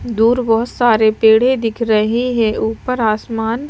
दूर बहुत सारे पेढ़े दिख रहे हैं ऊपर आसमान--